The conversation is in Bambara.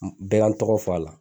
Bɛɛ ka n tɔgɔ f'a la.